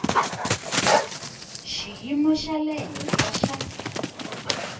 xiyimo xa le henhla xa